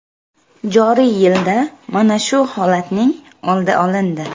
Joriy yilda mana shu holatning oldi olindi.